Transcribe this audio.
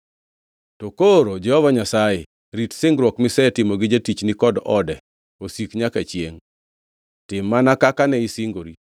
“To koro Jehova Nyasaye rit singruok misetimo gi jatichni kod ode osik nyaka chiengʼ. Tim mana kaka ne isingori,